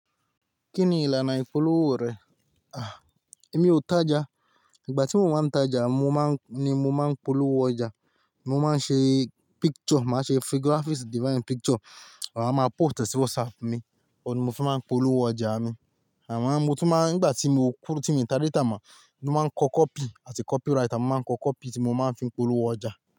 Kí ni ìlànà ìpolówó rẹ? À, èmi ò tajà. Ìgbà tí mo máa ń tajà, mo máa ń ni mo máa ń polówó ọjà. Mo máa ń ṣe picture, màá ṣe fi graphics design picture. Máa wá máa post ẹ̀ sí WhatsApp mi, ọ̀ ni mo fi máa ń polówó ọjà mi. Àmọ́ mo tún máa ń, ìgbà tí mo kúrò tí mí ta data mọ, mo máa ń kọ copy àti copyright. A máa ń kọ copy tí mo máa ń fi polówó ọjà.